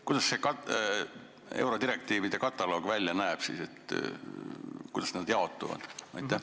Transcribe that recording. Kuidas see eurodirektiivide kataloog välja näeb, kuidas need direktiivid jaotuvad?